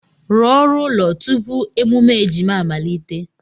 Rụọ oru ụlọ tupu emume ejima amalite!